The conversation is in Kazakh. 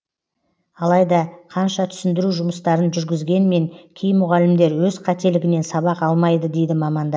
алайда қанша түсіндіру жұмыстарын жүргізгенмен кей мұғалімдер өз қателігінен сабақ алмайды дейді мамандар